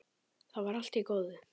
Það var allt í góðu.